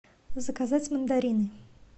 заказать мандарины